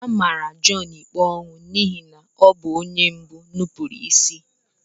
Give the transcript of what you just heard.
Amara Jọn ikpe ọnwụ n'ihi na ọ bụ onye mbụ nupụrụ isi.